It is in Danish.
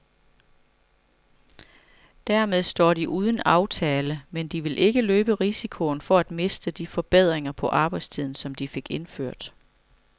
Dermed står de uden en aftale, men de vil ikke løbe risikoen for at miste de forbedringer på arbejdstiden, som de fik indført.